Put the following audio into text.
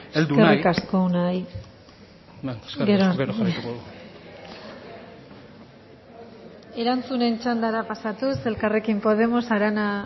arte bueno eskerrik asko gero jarraituko dut erantzunen txandara pasatuz elkarrekin podemos arana